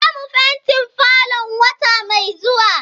Zamu fentin falon wata mai zuwa.